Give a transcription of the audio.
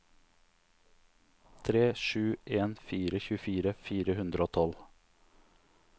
tre sju en fire tjuefire fire hundre og tolv